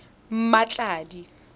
mmatladi